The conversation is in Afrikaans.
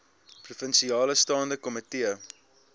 provinsiale staande komitee